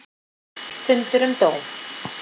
Fundur um dóm